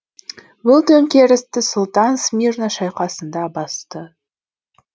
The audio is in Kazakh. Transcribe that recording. бұл төңкерісті сұлтан смирна шайқасында басты